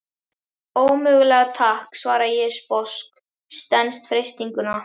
Ómögulega takk, svara ég sposk, stenst freistinguna.